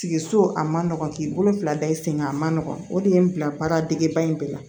Sigi so a ma nɔgɔn k'i bolo fila da i sen kan a ma nɔgɔ o de ye n bila baaradegeba in bɛɛ la